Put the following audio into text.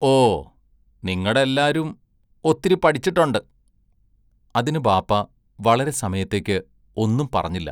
ഓ, നിങ്ങട എല്ലാരും ഒത്തിരി പഠിച്ചട്ടൊണ്ട് അതിന് ബാപ്പാ വളരെ സമയത്തേക്ക് ഒന്നും പറഞ്ഞില്ല.